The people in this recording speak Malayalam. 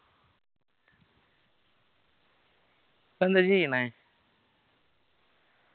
ഇപ്പോ എന്താ ചെയ്യണേ